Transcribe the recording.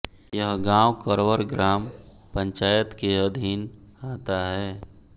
यह गाँव करवर ग्राम पंचायत के अधिन आता है